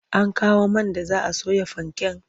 An kawo man da za a soya fanken?